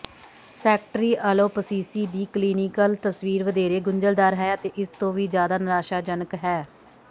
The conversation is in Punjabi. ਸੈਕੇਟਰੀਅਲੋਪਸੀਸੀ ਦੀ ਕਲੀਨੀਕਲ ਤਸਵੀਰ ਵਧੇਰੇ ਗੁੰਝਲਦਾਰ ਹੈ ਅਤੇ ਇਸ ਤੋਂ ਵੀ ਜ਼ਿਆਦਾ ਨਿਰਾਸ਼ਾਜਨਕ ਹੈ